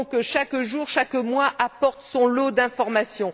Chaque jour et chaque mois apportent son lot d'informations.